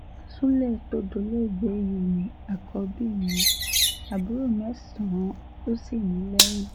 sulé tó dolóògbé yìí ni àkọ́bí mi àbúrò mẹ́sàn-án ló sì ní lẹ́yìn